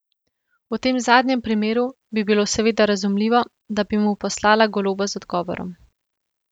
V tem zadnjem primeru bi bilo seveda razumljivo, da bi mu poslala goloba z odgovorom.